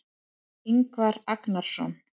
Ingvar Agnarsson.